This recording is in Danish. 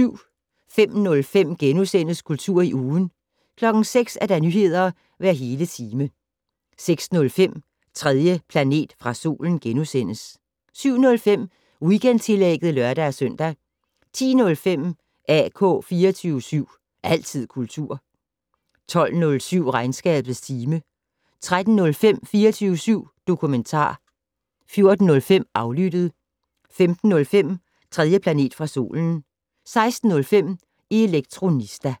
05:05: Kultur i ugen * 06:00: Nyheder hver hele time 06:05: 3. planet fra solen * 07:05: Weekendtillægget (lør-søn) 10:05: AK 24syv. Altid kultur 12:07: Regnskabets time 13:05: 24syv dokumentar 14:05: Aflyttet 15:05: 3. planet fra solen 16:05: Elektronista